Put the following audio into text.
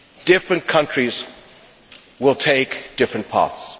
Different countries will take different paths.